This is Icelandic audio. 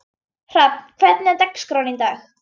Hrafn, hvernig er dagskráin í dag?